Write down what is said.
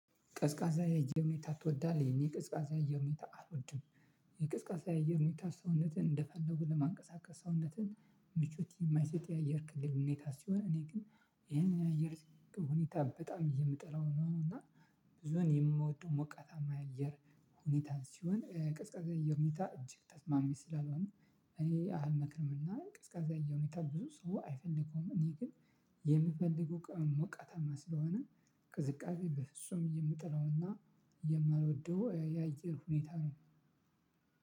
ቅዝቃዛ የአየር ሁኔታ ትወዳለህ የኔ ቅዝቃዛ የአየር ሁኔታ አልወድም። የቅዝቃዛ የአየር ሁኔታ ሰውነትን እንደፈለጉ ለማንቀሳቀስ ሰውነትን ምቾት የማይሰጥ የአየር ክልል ሁኔታ ሲሆን እኔ ግን ይሄንን የአየር ሁኔታ በጣም የምጠላው ነው። እና ብዙን የምወደው ሞቃታማ የአየር ሁኔታ ሲሆን ቀዝቃዛ የአየር ሁኔታ እጅግ ተስማሚ ስላልሆነ እኔ አልመክርም እና ቅዝቃዛ የአየር ሁኔታ ብዙ ሰው አይፈልገውም። እኔ ግን የምፈልገው ቀን ሞቃታማ ስለሆነ ቅዝቃዜ በፍጹም የምጠላውና የማልወደው የአየር ሁኔታ ነው።